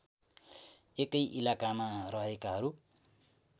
एकै इलाकामा रहेकाहरू